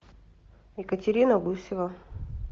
екатерина гусева